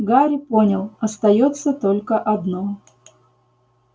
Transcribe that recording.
гарри понял остаётся только одно